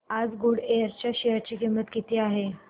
आज गुडइयर च्या शेअर ची किंमत किती आहे